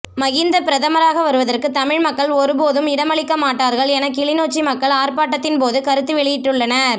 மஹிந்த பிரதமராக வருவதற்கு தமிழ் மக்கள் ஒருபோதும் இடமளிக்க மாட்டார்கள் என கிளிநொச்சி மக்கள் ஆர்ப்பாட்டத்தின் போது கருத்து வெளியிட்டுள்ளனர்